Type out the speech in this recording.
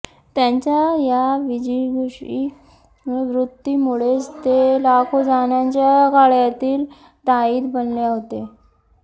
त्यांच्या या विजिगीषू वृत्तीमुळेच ते लाखो जणांच्या गळ्यातील ताईत बनले होते